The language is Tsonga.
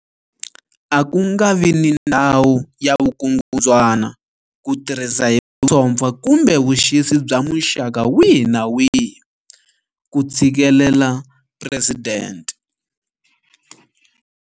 A ku nga vi ni ndhawu ya vukungundzwana, ku tirhisa hi vusompfa kumbe vuxisi bya muxaka wihi kumbe wihi, ku tshikelela Presidente.